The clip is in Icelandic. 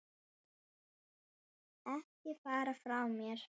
Ekki fara frá mér!